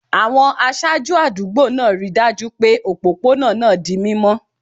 Àwọn aṣáájú àdúgbò náà rí i dájú pé òpópónà náà di mímọ́